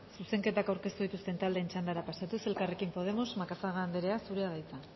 zuzenketak aurkeztu dituzten taldeen txandara pasatuz elkarrekin podemos macazaga anderea zurea da hitza